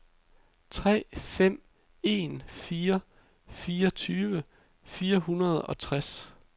tre fem en fire fireogtyve fire hundrede og tres